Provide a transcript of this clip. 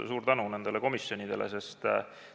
Suur tänu nendele komisjonidele!